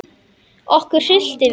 Okkur hryllti við.